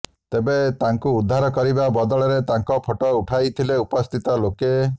ତେବେ ତାଙ୍କୁ ଉଦ୍ଧାର କରିବା ବଦଳରେ ତାଙ୍କ ଫଟୋ ଉଠାଉଥିଲେ ଉପସ୍ଥିତ ଲୋକେ